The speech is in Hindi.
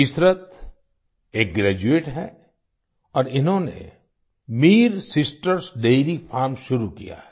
इशरत एक ग्रेजुएट है और इन्होंने Mir sisters dairy farm Mir sisters dairy farm शुरू किया है